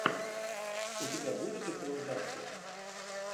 у тебя будет экранизация